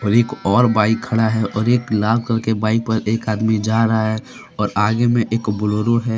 एक और बाइक खड़ा हैऔर एक लाल कलर के बाइक पर एक आदमी जा रहा है और आगे में एक ब्लोरो है।